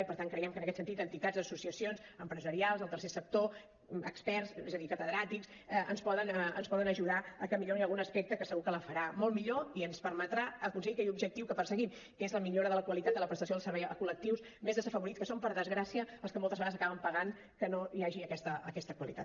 i per tant creiem que en aquest sentit entitats associacions empresarials el tercer sector experts és a dir catedràtics ens poden ajudar a que millori algun aspecte que segur que la farà molt millor i ens permetrà aconseguir aquell objectiu que perseguim que és la millora de la qualitat de la prestació del servei a col·lectius més desafavorits que són per desgràcia els que moltes vegades acaben pagant que no hi hagi aquesta qualitat